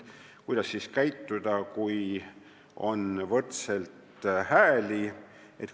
Kuidas siis käituda, kui on võrdselt hääli?